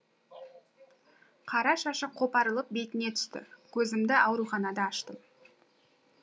қара шашы қопарылып бетіне түсті көзімді ауруханада аштым